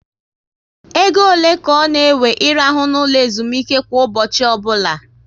Égo ole ka ọ na ewe I rahụ na ụlọ ezumike kwa ụbọchị ọbụla?